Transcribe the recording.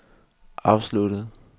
afsluttet